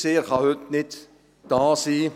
Heute kann er nicht da sein.